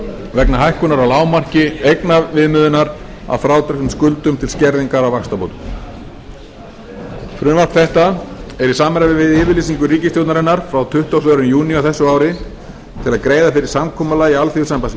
vegna hækkunar á lágmarki eignaviðmiðunar að frádregnum skuldum til skerðingar á vaxtabótum frumvarp þetta er í samræmi við yfirlýsingu ríkisstjórnarinnar frá tuttugasta og öðrum júní á þessu ári til að greiða fyrir samkomulagi alþýðusambands